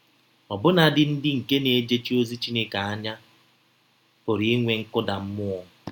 Ọbụnadị ndị nke na - ejechi ozi Chineke anya pụrụ inwe nkụda mmụọ.